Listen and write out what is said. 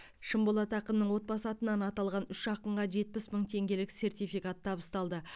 шынболат ақынның отбасы атынан аталған үш ақынға жетпіс мың теңгелік сертификат табысталды